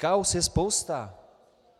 Kauz je spousta.